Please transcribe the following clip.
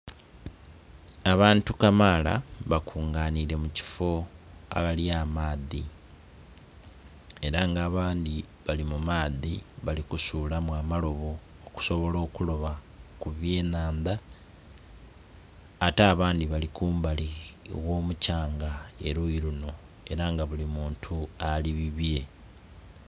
Abantu kamaala bakunganhire mukifoo agali amaadhi era nga abandhi bali mu maadhi bali kusulamau amalobo okusobola okuloba ku bye nhandha ate abandhi bali kumbali egho mukyanga eriyo lunho era nga buli muntu ali bubye.